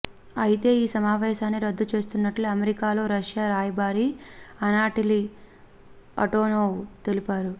అయితే ఈ సమావేశాన్ని రద్దు చేస్తున్నట్లు అమెరికాలో రష్యా రాయబారి అనాటోలీ ఆంటోనోవ్ తెలిపారు